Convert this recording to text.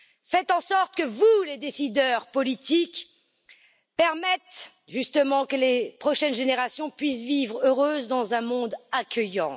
Faites en sorte, vous les décideurs politiques, de permettre que les prochaines générations puissent vivre heureuses dans un monde accueillant.